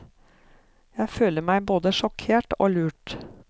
Jeg føler meg både sjokkert og lurt.